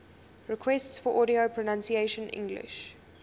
requests for audio pronunciation english